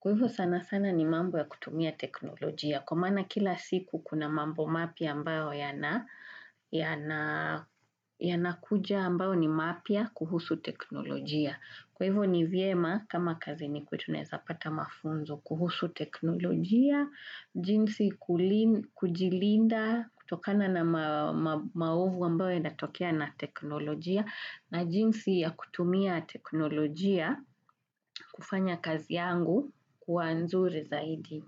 Kwa hivyo sana sana ni mambo ya kutumia teknolojia. Kwa maana kila siku kuna mambo mapya ambayo yanakuja ambayo ni mapya kuhusu teknolojia. Kwa hivyo ni vyema kama kazini kwetu naweza pata mafunzo kuhusu teknolojia, jinsi kujilinda kutokana na maovu ambayo yanatokea na teknolojia na jinsi ya kutumia teknolojia kufanya kazi yangu kuwa nzuri zaidi.